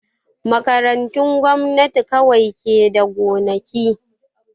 Makarantun gwamnati kawai ke da gonaki